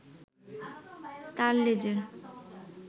তার লেজের